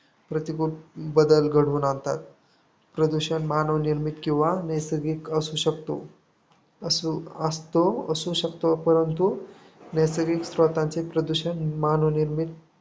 प्रतिकुल बदल घडवून आणतात. प्रदूषण मानवनिर्मित किंवा नैसर्गिक असू शकतो. असू असतो असू शकतो. परंतु नैसर्गिक स्रोतांचे प्रदूषण मानवनिर्मित